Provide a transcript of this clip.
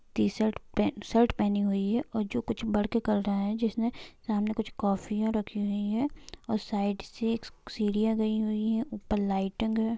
T shirt पेन shirt पहनी हुई है और जो कुछ बढ़ के कर रहा है जिसने सामने कुछ कोफिया रखी हुई है और साइड से सीढ़िया गई हुई है ऊपर लाइट ग।--